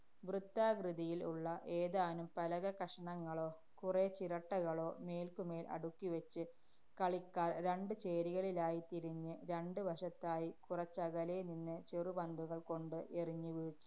വൃത്താകൃതിയില്‍ ഉള്ള ഏതാനും പലകക്കഷണങ്ങളോ കുറേ ചിരട്ടകളോ മേര്‍ക്കുമേല്‍ അടുക്കിവച്ച്, കളിക്കാര്‍ രണ്ട് ചേരികളിലായിത്തിരിഞ്ഞ് രണ്ട് വശത്തായി കുറച്ചകലെ നിന്ന് ചെറുപന്തുകള്‍ കൊണ്ട് എറിഞ്ഞ് വീഴ്~